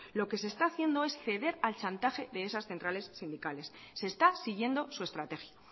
lo que se está haciendo es ceder al chantaje de esas centrales sindicales se está siguiendo su estrategia